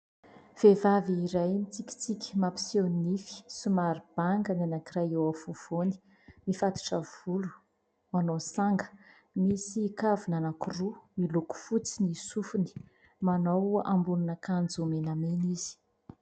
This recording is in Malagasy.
Vehivavy iray mitsikitsiky mampiseho nify somary banga ny anankiray eo afovoany. Mifatotra volo, manao sanga. Misy kavina anankiroa miloko fotsy ny sofiny. Manao ambonin'akanjo menamena izy.